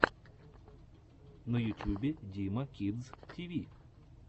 на ютюбе дима кидс ти ви